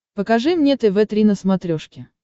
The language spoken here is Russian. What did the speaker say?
покажи мне тв три на смотрешке